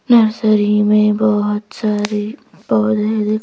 nursery में बहुत सारे औधे दिक् --